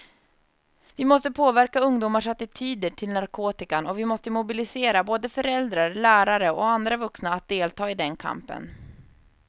Vi måste påverka ungdomars attityder till narkotikan och vi måste mobilisera både föräldrar, lärare och andra vuxna att delta i den kampen.